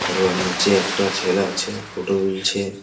আর ওর নিচে একটা ছেল আছে ফটো তুলছে।